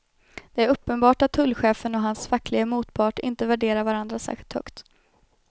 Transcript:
Det är uppenbart att tullchefen och hans facklige motpart inte värderar varandra särskilt högt.